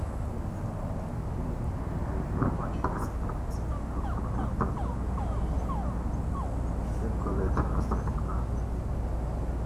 i give one basket okro take okro take collect roasted groundnut.